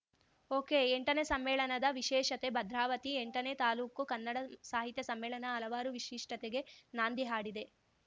ಒಕೆಎಂಟನೇ ಸಮ್ಮೇಳನದ ವಿಶೇಷತೆ ಭದ್ರಾವತಿ ಎಂಟನೇ ತಾಲೂಕು ಕನ್ನಡ ಸಾಹಿತ್ಯ ಸಮ್ಮೇಳನ ಹಲವಾರು ವಿಶಿಷ್ಟತೆಗೆ ನಾಂದಿ ಹಾಡಿದೆ